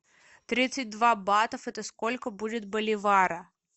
тридцать два батов это сколько будет боливара